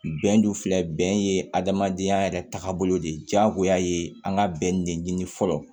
Bɛn dun filɛ bɛn ye adamadenya yɛrɛ taabolo de ye diyagoya ye an ka bɛn de ɲini fɔlɔ